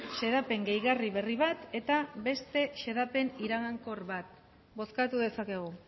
xedapen gehigarri berri bat eta beste xedapen iragankor bat bozkatu dezakegu